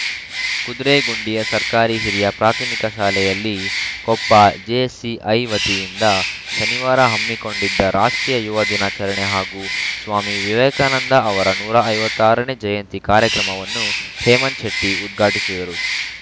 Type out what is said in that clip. ಕುದ್ರೆಗುಂಡಿಯ ಸರ್ಕಾರಿ ಹಿರಿಯ ಪ್ರಾಥಮಿಕ ಶಾಲೆಯಲ್ಲಿ ಕೊಪ್ಪ ಜೆಸಿಐ ವತಿಯಿಂದ ಶನಿವಾರ ಹಮ್ಮಿಕೊಂಡಿದ್ದ ರಾಷ್ಟ್ರೀಯ ಯುವ ದಿನಾಚರಣೆ ಹಾಗೂ ಸ್ವಾಮಿ ವಿವೇಕಾನಂದ ಅವರ ನೂರ ಐವತ್ತ್ ಆರ ನೇ ಜಯಂತಿ ಕಾರ್ಯಕ್ರಮವನ್ನು ಹೇಮಂತ್‌ ಶೆಟ್ಟಿಉದ್ಘಾಟಿಸಿದರು